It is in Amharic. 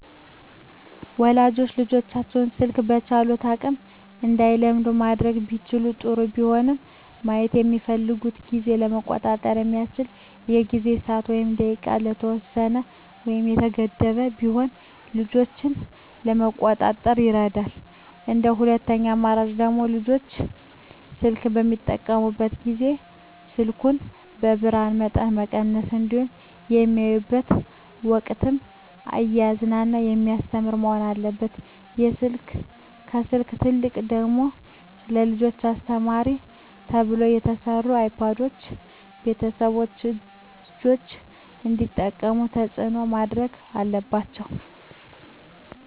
ወላጆች ልጆቻቸውን ስልክ በቻሉት አቅም እንዳይለምዱ ማድረግ ቢችሉ ጥሩ ቢሆንም ማየት በሚፈልጉበት ጊዜ ለመቆጣጠር በሚያዩበት ጊዜ በሰዓት ወይም በደቂቃ የተወሰነ ወይም የተገደበ ቢሆን ልጆችን ለመቆጣጠር ይረዳል እንደ ሁለተኛ አማራጭ ደግሞ ልጆች ስልክ በሚጠቀሙበት ጊዜ የስልኩን የብርሀኑን መጠን መቀነስ እንዲሁም በሚያዩበት ወቅትም እያዝናና በሚያስተምር መሆን አለበት ከስልክ ይልቅ ደግሞ ለልጆች አስተማሪ ተብለው የተሰሩ አይፓዶችን ቤተሰቦች ልጆች እንዲጠቀሙት ተፅዕኖ ማድረግ አለባቸው።